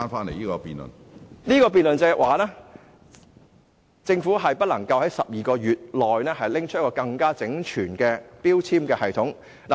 我的論點是，政府不能在12個月內提出一個更為整全的標籤系統。